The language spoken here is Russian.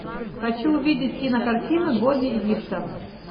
хочу увидеть кинокартину боги египта